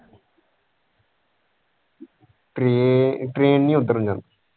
train train ਨਹੀਂ ਉਧੱਰ ਜਾਂਦੀ।